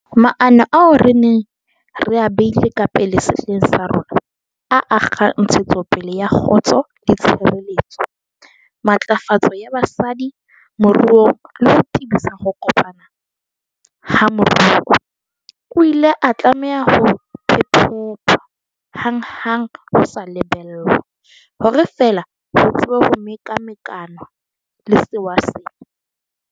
Maano ao re neng re a beile ka pele sehleng sa rona, a akgang ntshetsopele ya kgotso le tshireletso, matlafatso ya basadi moruong le ho tebisa ho kopana ha moruo, a ile a tlameha ho phephethwa hanghang ho sa lebellwa, hore fela ho tsebe ho mekamekanwa le sewa sena.